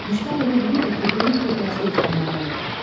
Düşmən elə bilirdi ki, böyük bir dəstə üstünə gəlib.